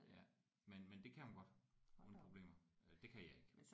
Ja men men det kan hun godt uden problemer øh det kan jeg ikke